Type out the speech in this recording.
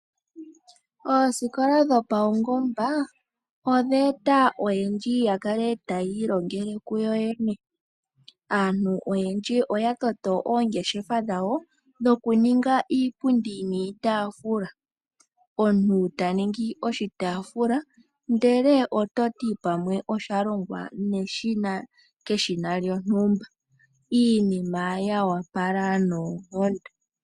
Oosikola dhapaungomba odheeta oyendji yakale taya ilongele kuyo yene. Aantu oyendji oya toto oongeshefa dhawo dhokuninga iipundi niitaafula . Omuntu taningi oshitaafula ndele ototi pamwe osha longwa keshina lyontumba, iinima yoopala noonkondo.